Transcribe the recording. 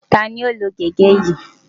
Ta ni ó lo gege yìí?